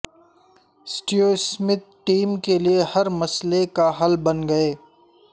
Steve Smith team کے لئے ہر مسئلے کا حل بن گئے